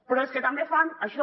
però és que també fan això